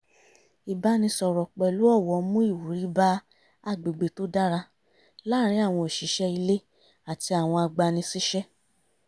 ìbánisọ̀rọ̀ pẹ̀lú ọ̀wọ̀ mú ìwúrí bá agbègbè tó dára láàrin àwọn òṣìṣẹ́ ilé àti àwọn agbani-síṣẹ́